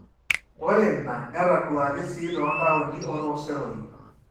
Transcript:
ore ina netaduaaki sii toontaoni otooseroi